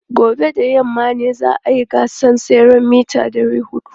Gobe ​​da yamma ne za a yi gasar tseren mita 400.